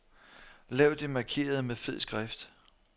Lav det markerede med fed skrift.